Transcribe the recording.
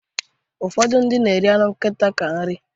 Ụfọdụ na-eri anụ nkita dịka nri